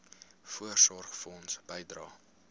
voorsorgfonds bydrae